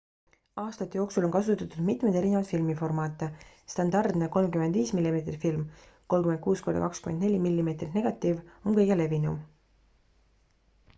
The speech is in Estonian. aastate jooksul on kasutatud mitmeid erinevaid filmiformaate. standardne 35 mm film 36 x 24 mm negatiiv on kõige levinum